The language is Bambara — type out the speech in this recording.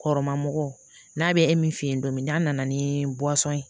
Kɔrɔma mɔgɔ n'a bɛ e min f'e ye don min n'a nana ni ye